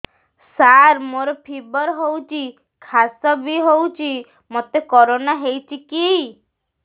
ସାର ମୋର ଫିବର ହଉଚି ଖାସ ବି ହଉଚି ମୋତେ କରୋନା ହେଇଚି କି